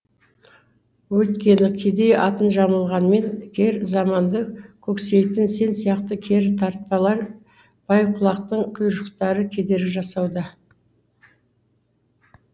өйткені кедей атын жамылғанмен кер заманды көксейтін сен сияқты кері тартпалар бай құлақтың құйыршықтары кедергі жасауда